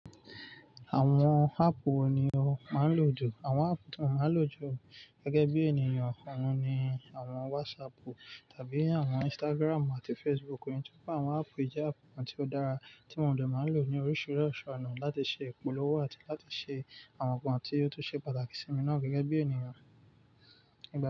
Àwọn áàpù wo ni o máa ń lò jù? Àwọn áàpù tí mo máa ń lò jù gẹ́gẹ́ bí ènìyàn oùn ni àwọn WhatsApp tàbí àwọn Instagram àti Facebook. Nítorí pé àwọn áàpù yìí jẹ́ áàpù kan tí ó dára tí mo dẹ̀ màá lò ní oríṣiríṣi ọ̀nà láti ṣe ìpolówó àti láti ṣe àwọn nǹkan tí ó tún ṣe pàtàkì sí mi náà gẹ́gẹ́ bí ènìyàn.